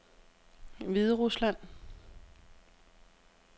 Hviderusland